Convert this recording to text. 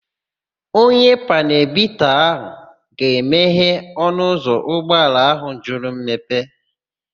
Onye panelu bita ga-emehe ọnụụzọ ụgbọala áhụ̀ jụrụ mmepe.